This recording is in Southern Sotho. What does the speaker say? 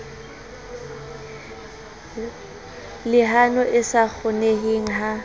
lehano e sa kgoneheng ha